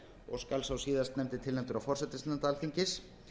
og skal sá síðastnefndi tilnefndur af forsætisnefnd alþingis